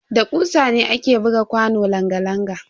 Da kusa ne ake buga kwanon langa-langa.